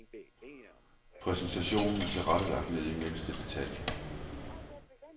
Præsentationen er tilrettelagt ned i mindste detalje.